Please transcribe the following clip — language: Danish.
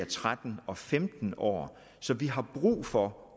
tretten og femten år så vi har brug for